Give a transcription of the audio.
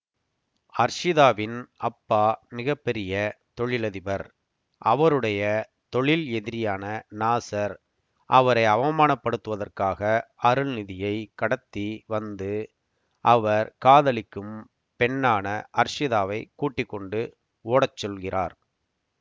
அர்ஷிதாவின் அப்பா மிக பெரிய தொழிலதிபர் அவருடைய தொழில் எதிரியான நாசர் அவரை அவமானப்படுத்துவதற்காக அருள்நிதியை கடத்தி வந்து அவர் காதலிக்கும் பெண்ணான அர்ஷிதாவை கூட்டிக்கொண்டு ஓடச்சொல்கிறார்